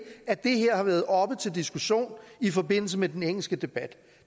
at det her har været oppe til diskussion i forbindelse med den engelske debat